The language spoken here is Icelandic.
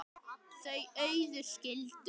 Þau Auður skildu.